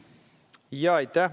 Aitäh!